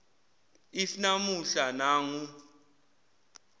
if namuhla nangu